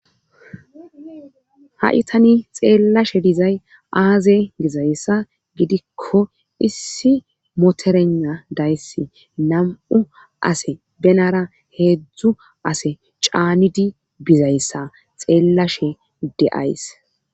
Haysatana nieellashe dizay aaze bizayssa gidikko issi moterena dayssi nam' ase benara heedzdzu ase caanidi bizayssa xeellashe deays.